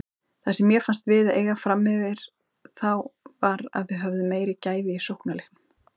Það sem mér fannst við eiga framyfir þá var við höfðum meiri gæði í sóknarleiknum.